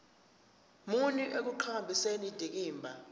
muni ekuqhakambiseni indikimba